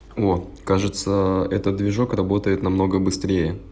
о кажется этот движок работает намного быстрее